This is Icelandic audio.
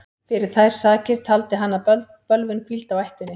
Fyrir þær sakir taldi hann að bölvun hvíldi á ættinni.